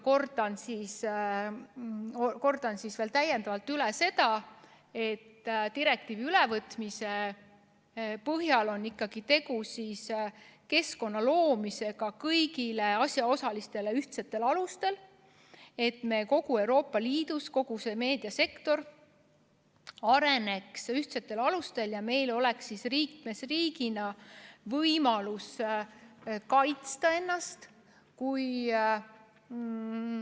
Kordan siis veel kord üle selle, et direktiivi ülevõtmise puhul on tegu kõigile asjaosalistele ühtsetel alustel keskkonna loomisega, et terves Euroopa Liidus kogu meediasektor areneks ühtsetel alustel ja meil oleks liikmesriigina võimalus ennast kaitsta.